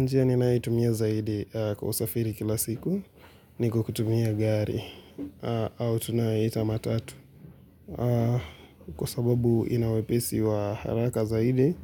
Njia ninayo itumia zaidi kwa usafiri kila siku ni kwa kutumia gari au tunaita matatu. Kwa sababu inawepesi wa haraka zaidi